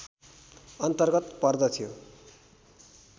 अन्तर्गत पर्दथ्यो